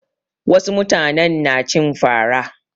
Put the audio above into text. Wasu mutane na cin fa ra.